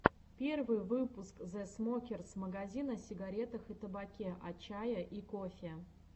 первый выпуск зэ смокерс мэгазин о сигарах и табаке о чае и кофе